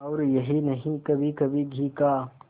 और यही नहीं कभीकभी घी का